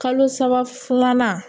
Kalo saba filanan